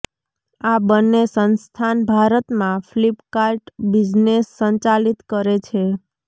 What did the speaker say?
આ બંને સંસ્થાન ભારતમાં ફ્લિપકાર્ટ બિઝનેસ સંચાલિત કરે છે